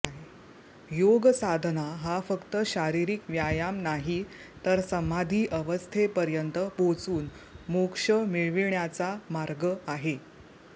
योग साधना हा फक्त शारीरिक व्यायाम नाही तर समाधी अवस्थेपर्यंत पोहचून मोक्ष मिळविण्याचा मार्ग आहे